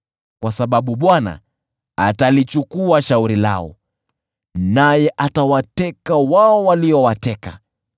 kwa sababu Bwana atalichukua shauri lao naye atawateka wao waliowateka.